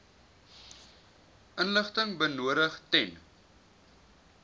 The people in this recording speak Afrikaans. inligting benodig ten